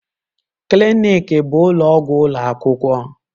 Clinic bụ ụlọ ọgwụ ụlọ akwụkwọ.